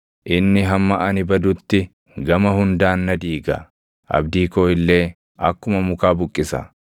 Inni hamma ani badutti gama hundaan na diiga; abdii koo illee akkuma mukaa buqqisa.